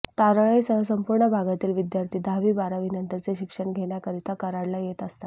तारळेसह संपूर्ण भागातील विद्यार्थी दहावी बारावीनंतरचे शिक्षण घेण्याकरीता कराडला येत असतात